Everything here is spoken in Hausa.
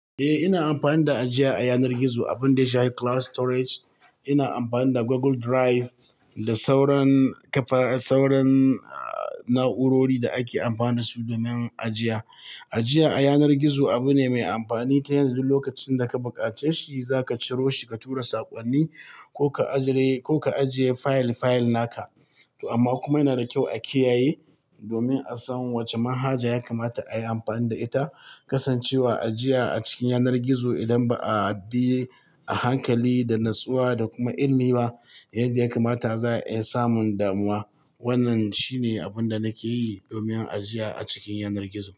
Eh, ina amfani da ajiya a yanar gizo, abun da ya shafi cloud storage. Ina amfani da Google Drive da sauran kafa-- sauran, ah, na'urori da ake amfani da su domin ajiya. Ajiya a yanar gizo abu ne mai amfani ta yanzu lokacin da ka buƙaci shi, za ka ciro shi ka tura saƙonni ko ka ajire-- ko ka ajiye fayil-fayil naka. To amma kuma yana da kyau a kiyaye domin a san wace mahaja ya kamata a yi amfani da ita. Kasancewar ajiya a cikin yanar gizo idan ba a bi a hankali da natsuwa da kuma ilimi ba, yadda ya kamata za a yi samun damuwa. Wannan shine abun da nake yi domin ajiya a cikin yanar gizo.